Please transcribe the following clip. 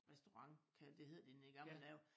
Restaurent kan det hed den i gamle dage